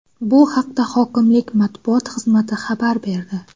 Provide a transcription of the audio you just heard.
Bu haqda hokimlik matbuot xizmati xabar berdi .